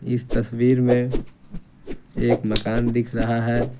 इस तस्वीर में एक मकान दिख रहा है।